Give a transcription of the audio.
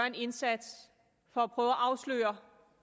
en indsats for at prøve at afsløre